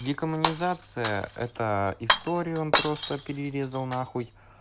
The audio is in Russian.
декоммунизация это историю он просто перерезал на хуй